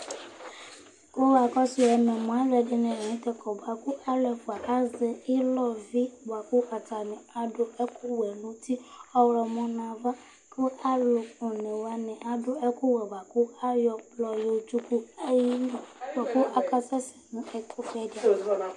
Alʋɛdìní la ntɛ kɔ bʋakʋ alu ɛfʋa azɛ ilɔ vi bʋakʋ atani adu ɛku wɛ nʋ ʋti ɔwlɔmɔ nʋ ava kʋ alu ɔne wani adu ɛku wɛ bʋakʋ ayɔ ɛkplɔ yɔ tsʋku ayʋ ìlí bʋakʋ akasɛsɛ nu ɛku fʋe di ava